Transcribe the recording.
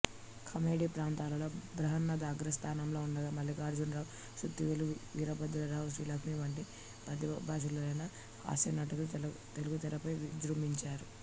comedy పాత్రలలో బ్రహ్మానందం అగ్రస్థానంలో ఉండగా మల్లికార్జునరావు సుత్తివేలు వీరభద్రరావు శ్రీలక్ష్మి వంటి ప్రతిభాశాలురైన హాస్యనటులు తెలుగుతెరపై విజృంభించారు